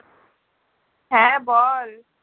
হ্যাঁ বল